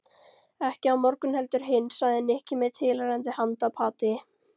Ekki á morgun heldur hinn sagði Nikki með tilheyrandi handapati.